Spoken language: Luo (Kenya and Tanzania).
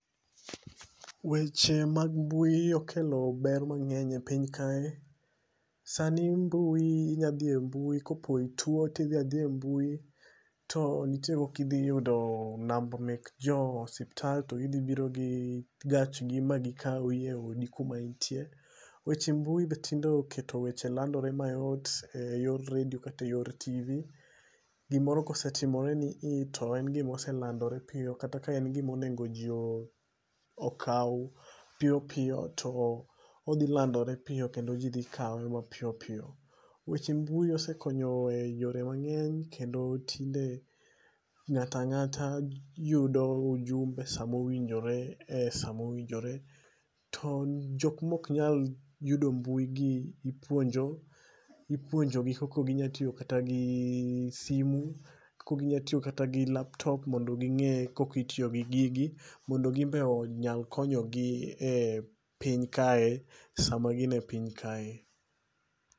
Weche mag mbui okelo ber mangény e piny kae. Sani mbui inya dhi e mbui, kopo itwo, ti dhi adhiya e mbui to nitie kaka idhi yudo namba mek jo osiptal, to gi dhi biro gi gachgi ma gikawi e odi kuma intie. Weche mbui be tinde oketo weche landore mayot e yor redio kata yor tv. Gimoro kosetimore nii, to en gima oselandore piyo, kata ka en gima onego ji okaw piyo piyo, to odhi landore piyo kendo ji dhi kawe mapiyo piyo. Weche mbui osekonyo e yore mangény, kendo tinde ngáta ngáta yudo ujumbe e sa mowinjore,e sa mowinjore. To jok ma oknyal yudo mbui gi ipuonjogi kaka ginyalo tiyogi kata simu, kaka ginyalo tiyo kata gi laptop mondo gingé kaka itiyo gi gigi. Mondo ginbe onya konyo gi e piny kae, sama gin e piny kae.